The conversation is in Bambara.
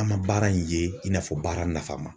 An ma baara in ye i n'a fɔ baara nafama.